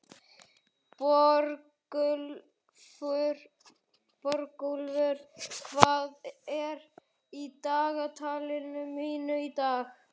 Borgúlfur, hvað er í dagatalinu mínu í dag?